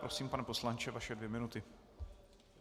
Prosím, pane poslanče, vaše dvě minuty.